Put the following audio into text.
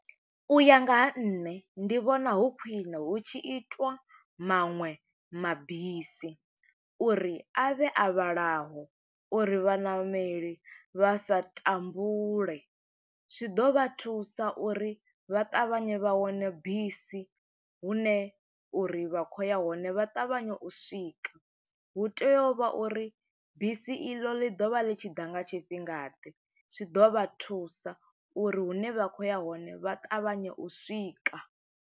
U ya nga ha nṋe, ndi vhona hu khwiṋe hu tshi itwa maṅwe mabisi, uri a vhe a vhalaho uri vhaṋameli vha sa tambule. Zwi ḓo vha thusa uri vha ṱavhanye vha wane bisi, hune uri vha khou ya hone vha ṱavhanye u swika. Hu tea u vha uri, bisi iḽo ḽi ḓovha ḽi tshi ḓa nga tshifhinga ḓe, zwi ḓo vha thusa uri hune vha khou ya hone, vha ṱavhanye u swika.